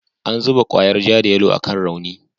An zuba kwayar ja da yalo akan rauni.